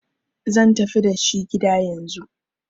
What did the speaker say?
zan tafi dashi gida yanzu!